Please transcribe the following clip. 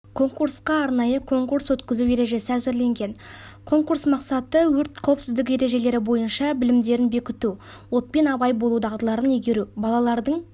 конкурсқа арнайы конкурс өткізу ережесі әзірленген конкурс мақсаты өрт қауіпсіздігі ережелері бойынша білімдерін бекіту отпен абай болу дағдыларын игеру балалардың жауапкершілік